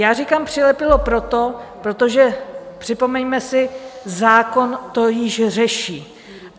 Já říkám přilepilo proto, protože - připomeňme si - zákon to již řeší.